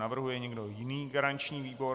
Navrhuje někdo jiný garanční výbor?